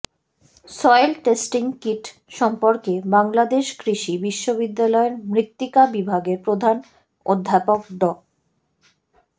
soil testing kit সম্পর্কে বাংলাদেশ কৃষি বিশ্ববিদ্যালয়ের মৃত্তিকা বিভাগের প্রধান অধ্যাপক ড